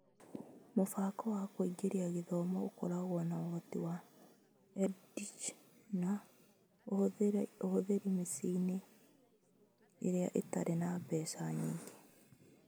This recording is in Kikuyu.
Mũbango wa kũingĩra gĩthomo ũkoragwo na ũhutio wa EdTech na ũhũthĩri mĩciĩ-inĩ ĩrĩa ĩtarĩ na mbeca nyingĩ.